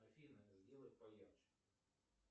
афина сделай поярче